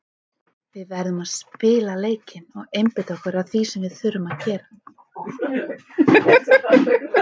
Við verðum að spila leikinn og einbeita okkur að því sem við þurfum að gera.